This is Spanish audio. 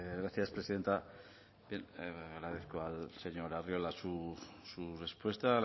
gracias presidenta agradezco al señor arriola su respuesta